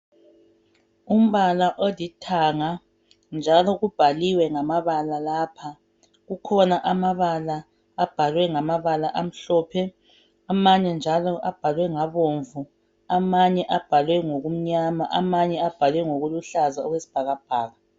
Umbala olithanga, njalo kubhaliwe ngamabala lapha. Kukhona amabala abhalwe ngamabala amhlophe. Amanye njalo abhalwe. ngabomvu. Amanye abhalwe .ngokumnyama. Amanye njalo abhalwe ngokuluhlaza, okwesibhakabhaka.